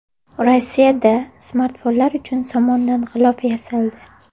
Rossiyada smartfonlar uchun somondan g‘ilof yasaldi.